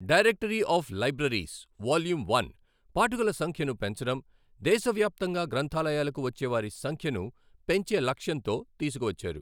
Directory of libraries volume one పాఠకుల సంఖ్యను పెంచడం, దేశవ్యాప్తంగా గ్రంథాలయాలకు వచ్చే వారి సంఖ్యను పెంచే లక్ష్యంతో తీసుకువచ్చారు.